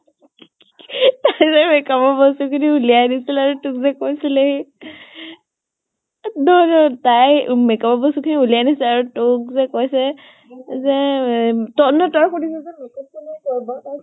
তাই যে makeup ৰ বস্তু খিনি ওলিৱাই দিছিলে তোক যে কৈছিলে সি তোক তাই উম makeup ৰ বস্তু খিনি ওলিৱাই আনিছে আৰু তোক যে কৈছে যে এম তই নহয় য়ই সুধি চাচোন